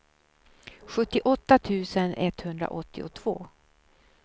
sjuttioåtta tusen etthundraåttiotvå